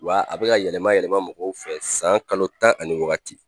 Wa a bɛka yɛlɛma yɛlɛma mɔgɔw fɛ san kalo tan ani wagati.